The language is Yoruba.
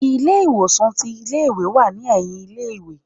ilé ìwòsan tí ilé ìwé n wá ní eyìn ilé ìwé